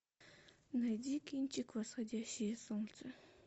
найди кинчик восходящее солнце